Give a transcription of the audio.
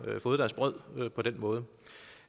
har fået deres brød på den måde